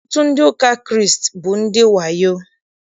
Ọtụtụ ndị ụka Kraịst bụ ndị wayo.